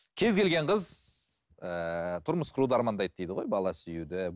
кез келген қыз ыыы тұрмыс құруды армандайды дейді ғой бала сүюді